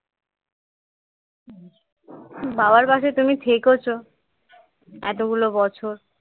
বাবার পাশে তুমি থেকেছো এতগুলো বছর